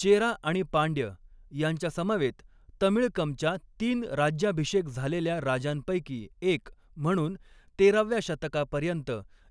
चेरा आणि पांड्य यांच्यासमवेत तमिळकमच्या तीन राज्याभिषेक झालेल्या राजांपैकी एक म्हणून, तेराव्या शतकापर्यंत